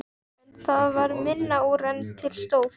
En það varð minna úr en til stóð.